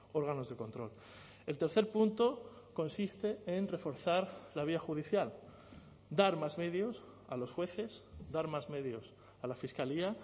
órganos de control el tercer punto consiste en reforzar la vía judicial dar más medios a los jueces dar más medios a la fiscalía